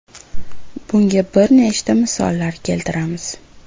Bunga bir nechta misollar keltiramiz.